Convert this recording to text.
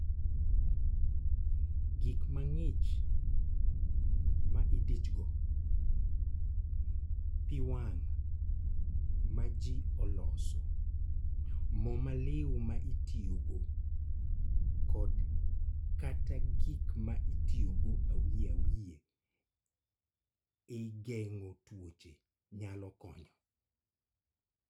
Gik mang'ich ma idichogo, pi wang� ma ji oloso, mo maliu ma itiyogo kod/kata gik ma itiyogo awiye awiye e geng�o tuoche nyalo konyo.